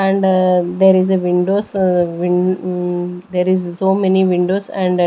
and ah there is a windows ah win um there is so many windows and --